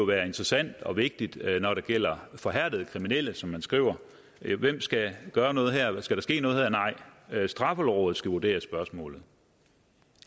være interessant og vigtigt når det gælder forhærdede kriminelle som man skriver hvem skal gøre noget her skal der ske noget her nej straffelovrådet skal vurdere spørgsmålet